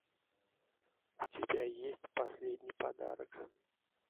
у тебя есть последний подарок